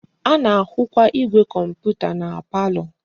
A na-ahukwa igwe komputa na palo.